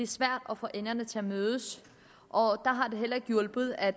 svært at få enderne til at mødes og der har det heller ikke hjulpet at